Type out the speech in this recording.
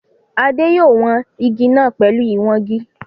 Adé yòó wan igi náà pẹ̀lú ìwangi